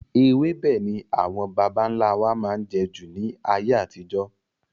Ewébẹ̀ ni àwọn bàbá nlá wa máa n jẹ jù ní ayé àtijó